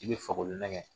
I bɛ fakolo nɛgɛ